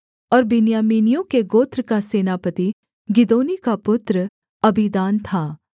और बिन्यामीनियों के गोत्र का सेनापति गिदोनी का पुत्र अबीदान था